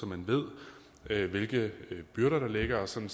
man ved hvilke byrder der ligger og sådan